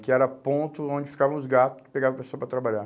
Que era ponto onde ficavam os gato que pegavam pessoas para trabalhar.